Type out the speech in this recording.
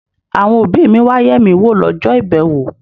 Àwọn òbí mi wá yẹ̀ mí wò lọ́jọ́ ìbẹ̀wò.